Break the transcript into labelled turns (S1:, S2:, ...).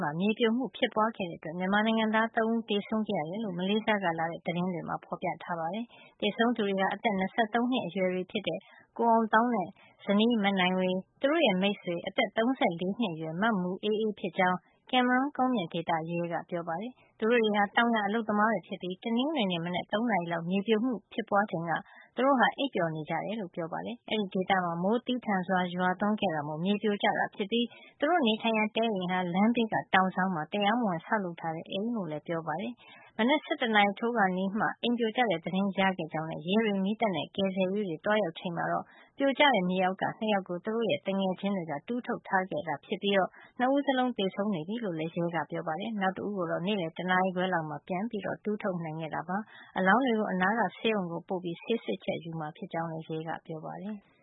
S1: မှာ မြေပြိုမှု ဖြစ်ပွားခဲ့တဲ့အတွက် မြန်မာနိုင်ငံသား ၃ ဦး သေဆုံးခဲ့ရတယ်လို့ မလေးရှားကလာတဲ့ သတင်းတွေမှာ ဖော်ပြထားပါတယ်။ သေဆုံးသူတွေဟာ အသက် ၂၃ နှစ်အရွယ်တွေ ဖြစ်တဲ့ ကိုအောင်သောင်းနဲ့ ဇနီး မနိုင်ဝေ၊ သူတို့ရဲ့မိတ်ဆွေ အသက် ၃၄ နှစ်အရွယ် မမူအေးအေး ဖြစ်ကြောင်း ကင်မရွန်းကုန်းမြင့်ဒေသ ရဲက ပြောပါတယ်။ သူတို့တွေဟာ တောင်ယာအလုပ်သမားတွေ ဖြစ်ပြီး တနင်္ဂနွေနေ့ မနက် ၃ နာရီလောက် မြေပြိုမှု ဖြစ်ပွားချိန်က အိပ်ပျော်နေကြ တယ်လို့ ပြောပါတယ်။ အဲဒီဒေသမှာ မိုးသည်းထန်စွာ ရွာသွန်းခဲ့တာမို့ မြေပြိုကျတာဖြစ်ပြီး သူတို့နေထိုင်ရာ တဲအိမ်ဟာ လမ်းဘေးက တောင်စောင်းမှာ တရားမဝင်ဆောက်လုပ်ထားတဲ့ အိမ်ဖြစ်ကြောင်း လည်းပြောပါတယ်။ မနက် ၁၁ နာရီထိုးခါနီးမှ အိမ်ပြိုကျတဲ့ သတင်းရခဲ့ကြောင်းနဲ့ ရဲတွေ မီးသတ်နဲ့ ကယ်ဆယ်ရေးတွေ သွားရောက် ချိန်မှာတော့ ပြိုကျတဲ့ မြေအောက်ကနေ ၂ ယောက်ကို သူတို့ရဲ့ သူငယ်ချင်းတွေက တူးထုတ်ထားခဲ့တာ ဖြစ်ပြီး ၂ ဦးလုံးသေဆုံးနေပြီ လို့လည်း ရဲကပြောပါတယ်။ နောက်တဦၤးကိုတော့ နေ့လည် တနာရီခွဲလောက်မှာ ပြန်တူးထုတ်နိုင်ခဲ့တာပါ။ အလောင်းတွေကို အနားက ဆေးရုံကို ပို့ပြီး ဆေးစစ်ချက် ယူမှာ ဖြစ်ကြောင်းလည်း ပြောပါတယ်။